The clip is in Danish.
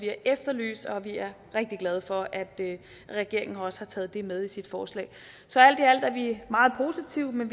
efterlyst og vi er rigtig glade for at regeringen også har taget det med i sit forslag så alt i alt er vi meget positive